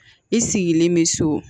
I sigilen bɛ so